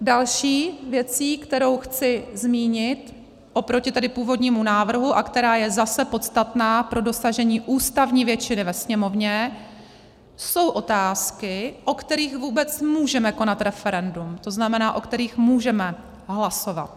Další věcí, kterou chci zmínit oproti tedy původnímu návrhu a která je zase podstatná pro dosažení ústavní většiny ve Sněmovně, jsou otázky, o kterých vůbec můžeme konat referendum, to znamená, o kterých můžeme hlasovat.